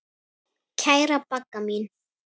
Kæra Bagga mín.